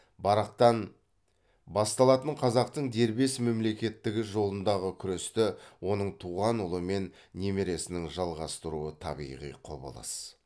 барақтан басталатын қазақтың дербес мемлекеттігі жолындағы күресті оның туған ұлы мен немересінің жалғастыруы табиғи құбылыс